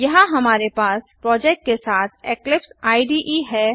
यहाँ हमारे पास प्रोजेक्ट के साथ इक्लिप्स इडे है